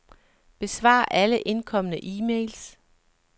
Besvar alle indkomne e-mails.